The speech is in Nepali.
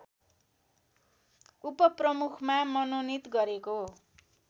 उपप्रमुखमा मनोनित गरेको